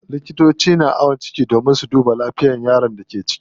Likitoci na ayon ciki domin su duba lafiyar yaron da ke ciki.